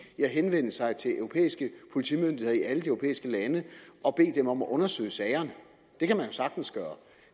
i at henvende sig til europæiske politimyndigheder i alle de europæiske lande og bede dem om at undersøge sagerne det kan man jo sagtens gøre